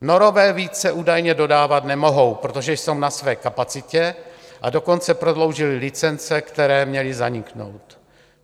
Norové více údajně dodávat nemohou, protože jsou na své kapacitě, a dokonce prodloužili licence, které měly zaniknout.